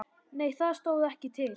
Nei það stóð ekki til.